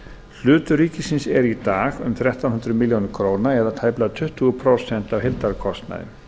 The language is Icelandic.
hlutur ríkisins er um þrettán hundruð milljóna króna eða tæplega tuttugu prósent af heildarkostnaði